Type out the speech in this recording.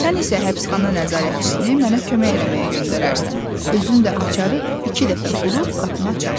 Sən isə həbsxana nəzarətçisini mənə kömək eləməyə göndərərsən, özün də açarı iki dəfə burub qapını açarsan.